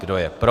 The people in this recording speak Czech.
Kdo je pro?